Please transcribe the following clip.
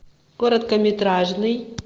короткометражный